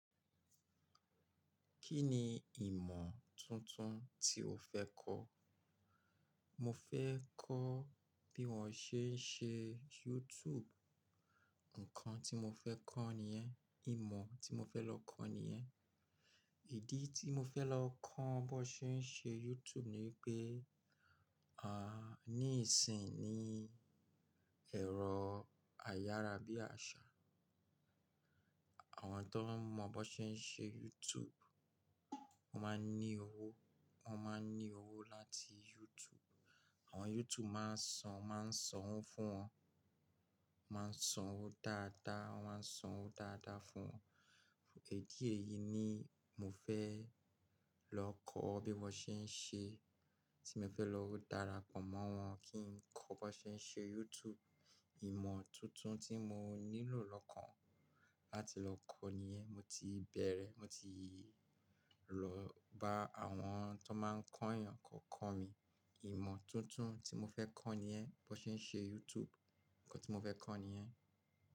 Kí ni ìmọ̀ tuntun tí o fẹ́ kọ́? Mo fẹ́ kọ́ bí wọ́n ṣe ń ṣe YouTube. Ǹkan tí mo fẹ́ kọ́ nìyẹn, ìmọ̀ tí mo fẹ́ lọ kọ́ nìyẹn. Ìdí tí mo fẹ́ lọ kọ́ bó ṣe ń ṣe YouTube ni pé, ní ìsìn ní ẹ̀rọ ayára bí àṣá. Àwọn tó mọ bó ṣe ń ṣe YouTube, wọ́n máa ń ní owó, wọ́n máa ń ní owó láti YouTube. Àwọn YouTube máa ń san, máa ń sanwó fún wọn, máa ń sanwó dáadáa, wọ́n máa ń sanwó dáadáa fún wọn. Idí èyí ni mò fẹ́ lọ kọ́ bí wọ́n ṣe ń ṣe, tí mo fẹ́ lọ darapọ̀ mọ́ wọn kí n kọ́ bó ṣe ń ṣe YouTube. Ìmọ̀ tuntun tí mò nílò lọ kàn láti lọ kọ́ nìyẹn. Mo ti bẹ̀rẹ̀, mo ti lọ bá àwọn tó máa ń kọ́ ènìyàn ko kọ́ mi. Ìmọ̀ tuntun tí mo fẹ́ kọ́ nìyẹn, bó ṣe ń ṣe YouTube, ǹkan tí mo fẹ́ kọ́ nìyẹn.